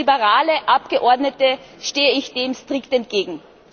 Und als liberale Abgeordnete stehe ich dem strikt entgegen.